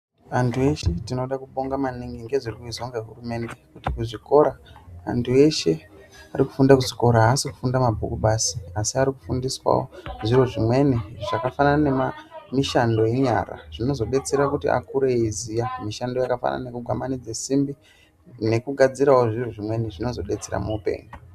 Antu eshe tinoda kubonga maningi nezviri kuizwa nehurumende kuti kuzvikora antu eshe ari kufunda kuzvikora haasi kufunda mabhuku basi asi arikufundiswawo zviro zvimweni zvakafanana nemishando yenyara zvinozo betsera kuti akure eiziya mishando yakafanana nekugwananidza simbi nekugadzirawo zviro zvimweni zvinozodetsera muhupenyu.